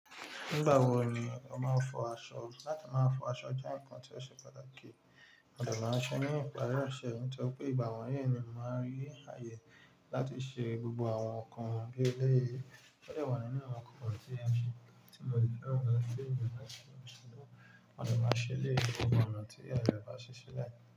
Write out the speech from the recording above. Nígbà wo ni o máa ń fọ aṣọ? Láti máa fọ aṣọ jẹ́ ǹkan tí ó ṣe pàtàkì, àdùn máa ń ṣe ní ìparí ọ̀ṣẹ̀, nítorí pé ìgbà wọ̀nyí ni mo máa rí ààyè láti ṣe gbogbo àwọn nǹkan bí eléyìí. Ó dọ̀wọ̀ nínú àwọn kọ̀kọ̀rọ̀ tí èmi ti mo lè fẹ́ràn gan an pé ìyá mi máa ń ṣe lóṣù tó ń bọ̀. Àdùn máa ń ṣe lé gbogbo àwọn nǹkan tí ìyá mi bá ṣe sílẹ̀.